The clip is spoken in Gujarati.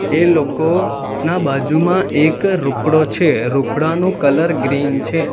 એ લોકોના બાજુમાં એક રૂખડો છે રૂખડાનો કલર ગ્રીન છે.